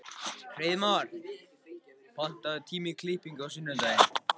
Hreiðmar, pantaðu tíma í klippingu á sunnudaginn.